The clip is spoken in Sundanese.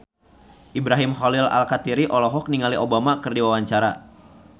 Ibrahim Khalil Alkatiri olohok ningali Obama keur diwawancara